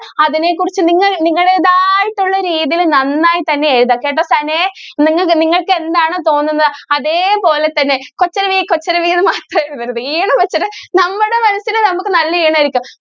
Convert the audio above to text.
അതിനെ കുറിച്ച് നിങ്ങൾ നിങ്ങളുടെതായിട്ടുള്ള രീതിയിൽ നന്നായിട്ട് തന്നെ എഴുതുക കേട്ടോ നിങ്ങൾക്ക് നിങ്ങൾക്ക് എന്താണോ തോന്നുന്നത് അതെപോലെ തന്നെ കൊച്ചരുവി കൊച്ചരുവി എന്ന് മാത്രം എഴുതരുത് ഏത് question ഉം നമ്മുടെ മനസിൽ നമുക്ക് നല്ല ഈണം ആയിരിക്കും.